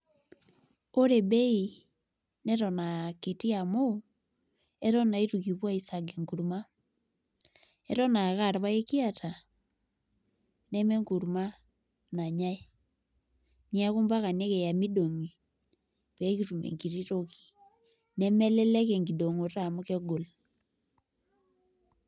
Ore bei neton aa kiti amu eton naa itu kipuo aisag enkurma eton aa ake aa irpaek kiata nemenkurma nanyai neeku mpaka nikiya midong'i pee kitum enkiti toki nemelelek enkidong'oto amu kegol.